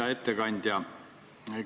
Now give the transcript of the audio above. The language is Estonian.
Hea ettekandja!